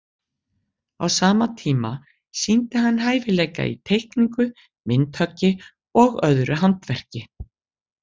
Á sama tíma sýndi hann hæfileika í teikningu, myndhöggi og öðru handverki.